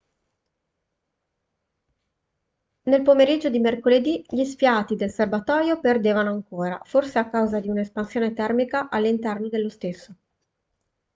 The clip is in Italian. nel pomeriggio di mercoledì gli sfiati del serbatoio perdevano ancora forse a causa di un'espansione termica all'interno dello stesso